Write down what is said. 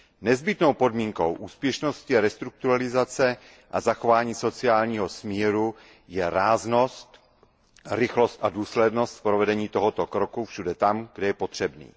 Nezbytnou podmínkou úspěšnosti restrukturalizace a zachování sociálního smíru je ráznost, rychlost a důslednost v provedení tohoto kroku všude tam, kde je potřebný.